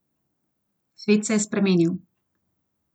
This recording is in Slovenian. Svet se je spremenil.